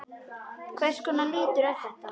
Hvers konar litur er þetta?